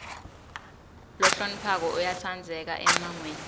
lohloniphako uyatsandzeka emmangweni